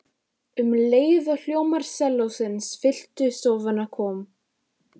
Um leið og hljómar sellósins fylltu stofuna kom